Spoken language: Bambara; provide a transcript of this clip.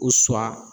U sɔ